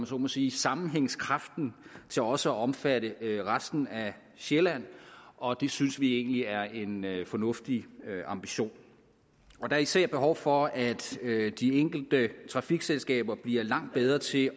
så må sige sammenhængskraften til også at omfatte resten af sjælland og det synes vi egentlig er en fornuftig ambition der er især behov for at de enkelte trafikselskaber bliver langt bedre til